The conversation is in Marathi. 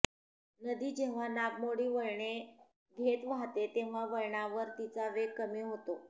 नदी जेव्हा नागमोडी वळणे घेत वाहते तेव्हा वळणावर तिचा वेग कमी होतो